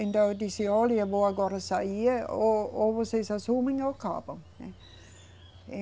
Então eu disse, olha, eu vou agora sair, ou, ou vocês assumem ou acabam, né.